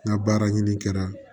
N ka baara ɲini kɛra